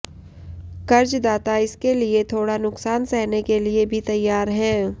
कर्जदाता इसके लिए थोड़ा नुकसान सहने के लिए भी तैयार हैं